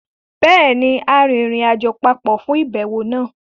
Béèni, a rìnrìnàjò papọ̀ fún àbẹ̀wò náà